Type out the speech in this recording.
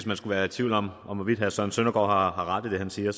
man skulle være i tvivl om om hvorvidt herre søren søndergaard har ret i det han siger